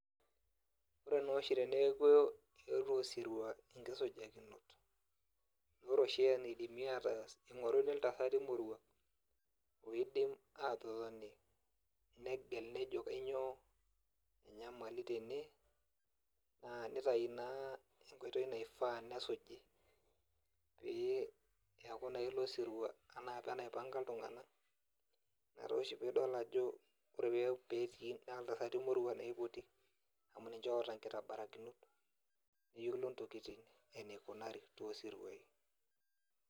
Ore noshi teneeku eetuo osirua inkisujakinot, ore oshi enaidimi ataas ning'oruni iltasati moruak. Oidim atotoni, negel nejo kanyioo enyamali tene, naa nitayu naa enkoitoi naifaa nesuji. Pee eku naa ilo sirua enaapa enaipanka iltung'anak, ina toshi pidol ajo ore petii iltasati moruak naa ipoti, amu ninche oota nkitabarakinot, neyiolo ntokiting enikunari tosiruai.